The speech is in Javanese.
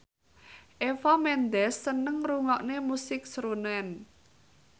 Eva Mendes seneng ngrungokne musik srunen